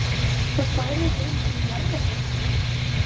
Þú færir ekki einu sinni í jarðarförina?